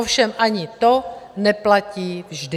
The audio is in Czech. Ovšem ani to neplatí vždy.